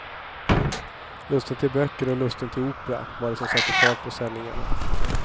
Lusten till böcker och lusten till opera var det som satte fart på sändningarna.